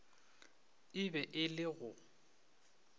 e be e le go